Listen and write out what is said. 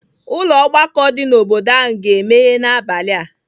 Ụlọ ọgbakọ dị n'obodo ahụ ga-emeghe n'abalị a.